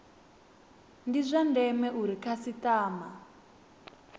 ndi zwa ndeme uri khasitama